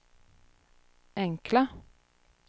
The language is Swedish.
enkla